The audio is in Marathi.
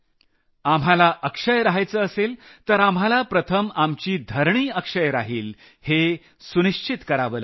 आपल्याला अक्षय रहायचं असेल तर आपल्याला प्रथम आपली धरणी अक्षय राहिल हे सुनिश्चित करावं लागेल